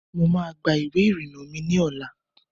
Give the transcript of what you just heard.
Mo ma gba ìwé ìrìnà mi lọ́la.